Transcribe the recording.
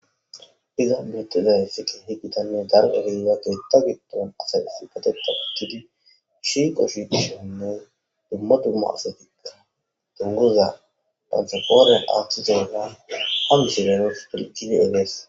Iza bittizay siki hi gitanne dar eriza keetta giddon asa sbatetakkidi ishi qoshi dishonne dumma dumma asatikka dunguza pansofoonen aaththizeyga ha mishilenos pilqidi egees